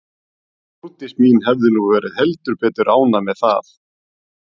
Hún Þórdís mín hefði nú verið heldur betur ánægð með það.